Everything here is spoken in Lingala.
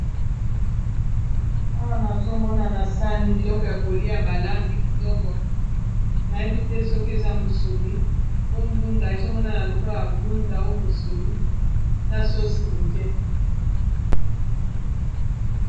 awa nazomonana sani biloko ya kolia balambi kitoko nayebi te soki eza musuni o ndunda ezomonana lokolo a ndunda o musuni na sosi muke